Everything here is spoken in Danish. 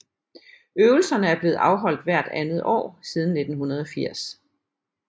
Øvelserne er blevet afholdt hvert andet år siden 1980